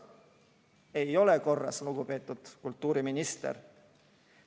Ei ole korras, lugupeetud kultuuriminister!